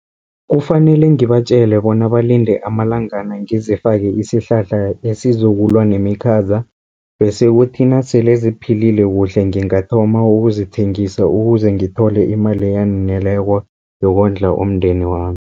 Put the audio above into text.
Kufanele ngibatjele bona balinde amalangana, ngizifake isihlahla esizokulwa nemikhaza, bese kuthi nasele ziphilile kuhle ngingathoma ukuzithengisa, ukuze ngithole imali eyaneleko yokondla umndeni wami.